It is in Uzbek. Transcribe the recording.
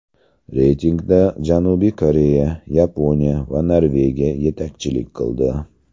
Reytingda Janubiy Koreya, Yaponiya va Norvegiya yetakchilik qildi.